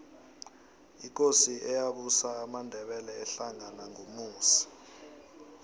ikosi eyabusa amandebele ahlangena ngumusi